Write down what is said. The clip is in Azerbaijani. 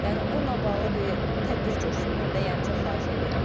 Yəni bununla bağlı bir tədbir görsünlər də, yəni çox xahiş edirik.